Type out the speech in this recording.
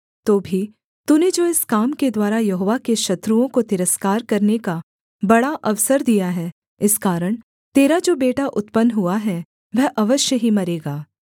तो भी तूने जो इस काम के द्वारा यहोवा के शत्रुओं को तिरस्कार करने का बड़ा अवसर दिया है इस कारण तेरा जो बेटा उत्पन्न हुआ है वह अवश्य ही मरेगा